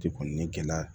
Ji kɔni ni gɛlɛya